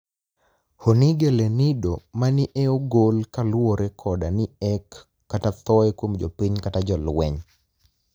Honige lenido mani eogol kaluore koda ni ek kata thoye kuom jopiniy kata jolweniy.